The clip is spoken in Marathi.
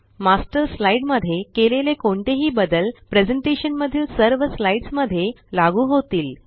मास्टर स्लाइड मध्ये केलेले कोणतेही बदल प्रेज़ेंटेशन मधील सर्व साइड्स मध्ये लागू होतील